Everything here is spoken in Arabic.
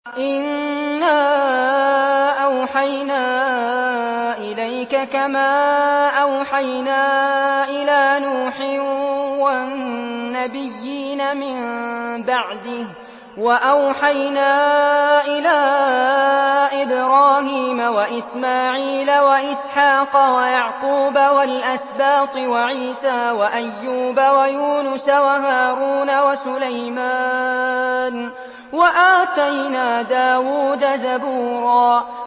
۞ إِنَّا أَوْحَيْنَا إِلَيْكَ كَمَا أَوْحَيْنَا إِلَىٰ نُوحٍ وَالنَّبِيِّينَ مِن بَعْدِهِ ۚ وَأَوْحَيْنَا إِلَىٰ إِبْرَاهِيمَ وَإِسْمَاعِيلَ وَإِسْحَاقَ وَيَعْقُوبَ وَالْأَسْبَاطِ وَعِيسَىٰ وَأَيُّوبَ وَيُونُسَ وَهَارُونَ وَسُلَيْمَانَ ۚ وَآتَيْنَا دَاوُودَ زَبُورًا